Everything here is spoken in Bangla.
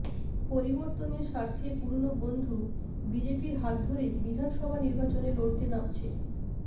পরিবর্তনের স্বার্থে পুরনো বন্ধু বিজেপির হাত ধরেই বিধানসভা নির্বাচনে লড়তে নামছে